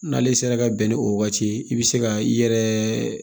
N'ale sera ka bɛn ni o waati ye i bɛ se ka i yɛrɛ